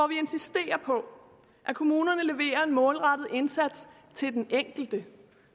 vi insisterer på at kommunerne leverer en målrettet indsats til den enkelte